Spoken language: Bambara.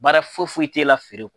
Baara foyi foyi i t'e la feere kɔ